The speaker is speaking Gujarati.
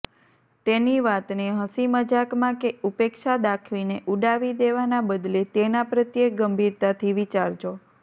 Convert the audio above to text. તેની વાતને હંસીમજાકમાં કે ઉપેક્ષા દાખવીને ઉડાવી દેવાના બદલે તેના પ્રત્યે ગંભીરતાથી વિચારજો